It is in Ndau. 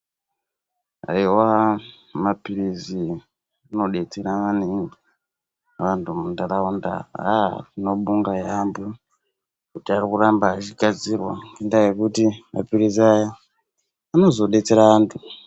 Eya mapirisi ano detsera maningi antu mu ndaraunda haa tino bonga yambo kuti ari kuramba achi gadzirwa ngenda yekuti mapirisi aya anozo detsera antu.